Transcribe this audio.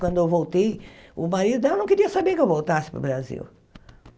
Quando eu voltei, o marido dela não queria saber que eu voltasse para o Brasil.